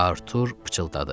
Artur pıçıldadı.